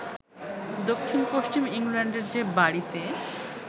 দক্ষিণ-পশ্চিম ইংল্যান্ডের যে বাড়িতে